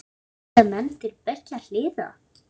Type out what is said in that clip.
Líta menn til beggja hliða?